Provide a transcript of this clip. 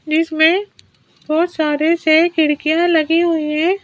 जिसमें बहुत सारे से खिड़कियां लगी हुई है।